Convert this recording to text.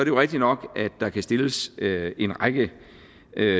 jo rigtigt nok at der kan stilles en række